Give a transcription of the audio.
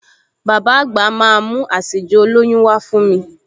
Bàbá àgbà máa mú àsèjẹ olóyún wá fún mi